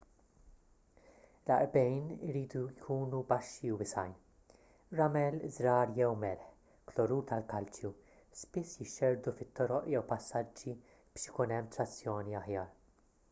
l-għarqbejn iridu jkunu baxxi u wiesgħin. ramel żrar jew melħ klorur tal-kalċju spiss jixxerrdu fit-toroq jew passaġġi biex ikun hemm trazzjoni aħjar